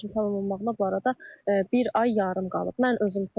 17 yaşımın tamam olmağına bu arada bir ay yarım qalıb.